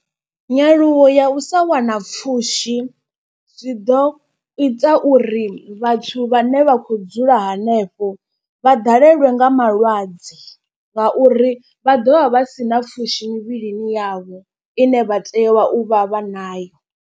Nyaluwo ya u sa wana pfhushi zwi ḓo ita uri vhathu vhane vha khou dzula. Hanefho vha ḓalelwe nga malwadze nga uri vha dovha vha si na pfhushi mivhilini yavho ine vha tea u vha vha nayo.